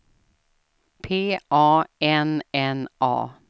P A N N A